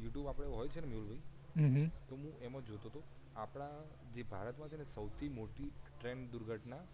you tube જે હોય ને મેહુલભાઇ હમ હમ તો હું એમાં જોતોતો આપડા જે ભારત માં છે ને સૌથી મોટી ટ્રેન દુર્ઘટના